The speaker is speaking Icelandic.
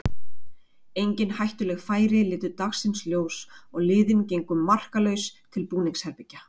Engin hættuleg færi litu dagsins ljós og liðin gengu markalaus til búningsherbergja.